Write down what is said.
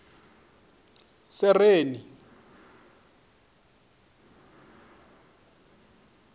sereni